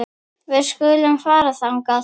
Við skulum fara þangað.